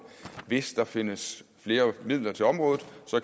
hvis der findes flere midler til området